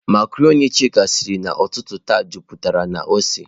Macarọnị Chika siri ụtụtụ taa, jupụtara na ose.